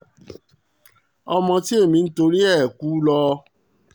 ọmọ tí ẹ̀mí ń torí ẹ̀ kú lọ